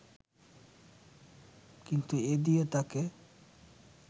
কিন্তু এ দিয়ে তাঁকে